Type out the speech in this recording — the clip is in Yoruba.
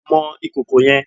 Mọ ìkòkò yẹn!